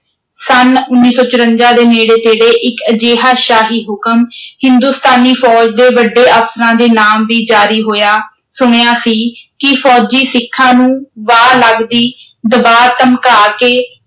ਸੰਨ ਉੱਨੀ ਸੌ ਚੁਰੰਜਾ ਦੇ ਨੇੜੇ ਤੇੜੇ ਇੱਕ ਅਜਿਹਾ ਸ਼ਾਹੀ ਹੁਕਮ ਹਿੰਦੁਸਤਾਨੀ ਫ਼ੌਜ ਦੇ ਵੱਡੇ ਅਫ਼ਸਰਾਂ ਦੇ ਨਾਮ ਵੀ ਜਾਰੀ ਹੋਇਆ ਸੁਣਿਆ ਸੀ ਕਿ ਫ਼ੌਜੀ ਸਿੱਖਾਂ ਨੂੰ, ਵਾਹ ਲੱਗਦੀ, ਦਬਾ ਧਮਕਾ ਕੇ,